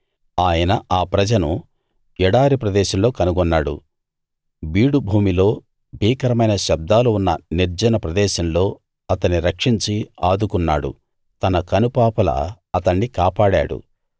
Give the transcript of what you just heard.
ఆయన ఆ ప్రజను ఎడారి ప్రదేశంలో కనుగొన్నాడు బీడు భూమిలో భీకరమైన శబ్దాలు ఉన్న నిర్జన ప్రదేశంలో అతణ్ణి రక్షించి ఆదుకున్నాడు తన కనుపాపలా అతణ్ణి కాపాడాడు